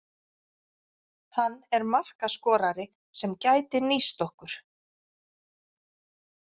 Hann er markaskorari sem gæti nýst okkur.